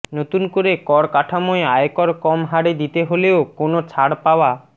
নতুন কর কাঠামোয় আয়কর কম হারে দিতে হলেও কোনও ছাড় পাওয়া